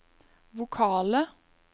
vokale